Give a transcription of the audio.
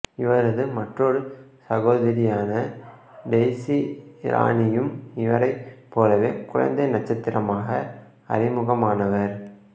இவரது மற்றொரு சகோதரியான டெய்சி இரானியும் இவரைப் போலவே குழந்தை நட்சத்திரமாக அறிமுகமானவர்